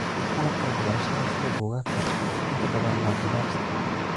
Qalabka waxbarashada, sida buugaagta, inta badan waa gabaabsi.